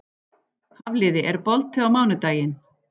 Hafliði, er bolti á mánudaginn?